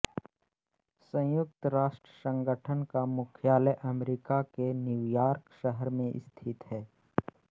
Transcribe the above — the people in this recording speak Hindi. संयुक्त राष्ट्र संगठन का मुख्यालय अमेरिका के न्युयॉर्क शहर में स्थित है